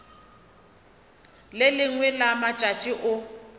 le lengwe la matšatši o